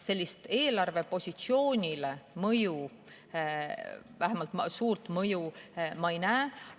Sellist mõju eelarvepositsioonile, vähemalt suurt mõju, ma ei näe.